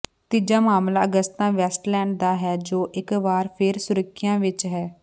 ਤੀਜਾ ਮਾਮਲਾ Agusta Westland ਦਾ ਹੈ ਜੋ ਇੱਕ ਵਾਰ ਫਿਰ ਸੁਰਖੀਆਂ ਵਿੱਚ ਹੈ